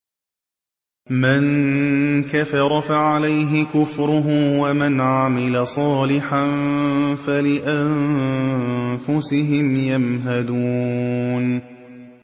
مَن كَفَرَ فَعَلَيْهِ كُفْرُهُ ۖ وَمَنْ عَمِلَ صَالِحًا فَلِأَنفُسِهِمْ يَمْهَدُونَ